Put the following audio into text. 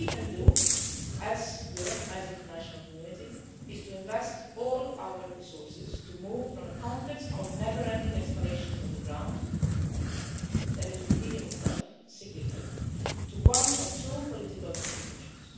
What we can do as Europe, as the international community, is to invest all our resources, to move from a context of never ending escalation on the ground, which is repeating itself cyclically, to one of true political negotiations.